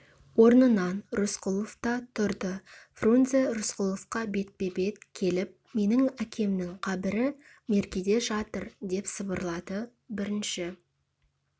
орнынан рысқұлов та тұрды фрунзе рысқұловқа бетпе-бет келіп менің әкемнің қабірі меркеде жатыр деп сыбырлады бірінші